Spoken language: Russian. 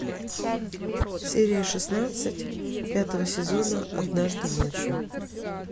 серия шестнадцать пятого сезона однажды ночью